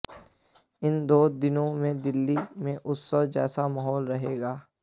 इन दो दिनों में दिल्ली में उत्सव जैसा माहौल रहेगा